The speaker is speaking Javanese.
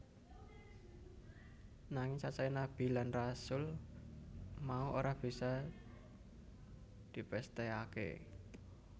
Nanging cacahé Nabi lan Rasul mau ora bisa dipesthèkaké